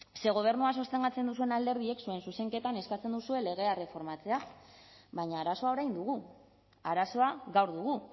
ze gobernua sostengatzen duzuen alderdiek zuen zuzenketan eskatzen duzue legea erreformatzea baina arazoa orain dugu arazoa gaur dugu